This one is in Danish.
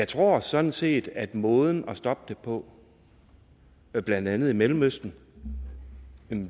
tror jeg sådan set at måden at stoppe det på blandt andet i mellemøsten